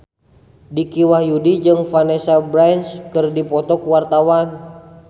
Dicky Wahyudi jeung Vanessa Branch keur dipoto ku wartawan